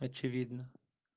очевидно